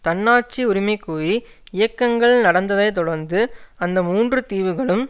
தன்னாட்சி உரிமைகோரி இயக்கங்கள் நடந்ததைத் தொடர்ந்து அந்த மூன்று தீவுகளும்